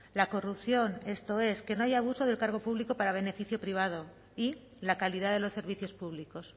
la corrupción esto es que no haya abusos del cargo público para beneficio privado y la calidad de los servicios públicos